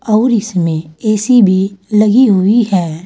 और इसमें ए_सी भी लगी हुई है।